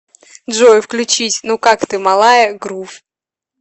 джой включить ну как ты малая грув